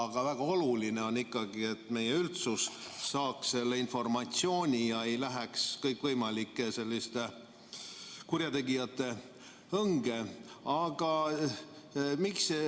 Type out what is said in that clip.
On väga oluline, et meie üldsus saaks selle informatsiooni kätte ja ei läheks kõikvõimalike kurjategijate õnge.